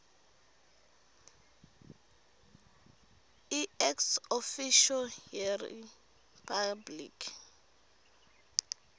iex officio yeripabliki